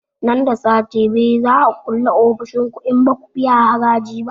Nan da sati biyu za a kulle ofishin ku in baku biya haraji ba